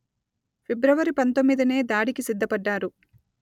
ఫిబ్రవరి పందొమ్మిదినే దాడికి సిద్ధపడ్డారు